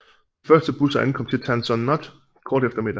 De første busser ankom til Tan Son Nhut kort efter middag